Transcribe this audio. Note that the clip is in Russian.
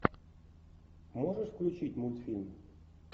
можешь включить мультфильм